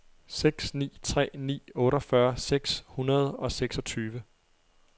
seks ni tre ni otteogfyrre seks hundrede og seksogtyve